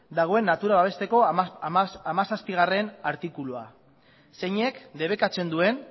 dagoen natura babesteko hamazazpigarrena artikulua zeinek debekatzen duen